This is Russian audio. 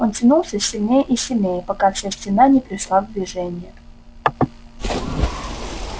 он тянул все сильнее и сильнее пока вся стена не пришла в движение